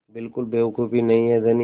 बिल्कुल बेवकूफ़ी नहीं है धनी